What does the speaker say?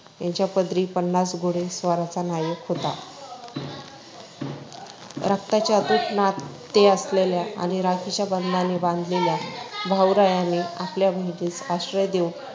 यांच्या पदरी पन्नास घोडेस्वारांचा नायक होता. रक्ताचे अतूट नाते असलेल्या आणि राखीच्या बंधनाने बांधलेल्या भाऊरायाने आपल्या बहिणीस आश्रय देऊन